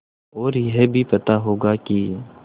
और यह भी पता होगा कि